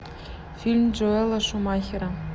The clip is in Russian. фильм джоэла шумахера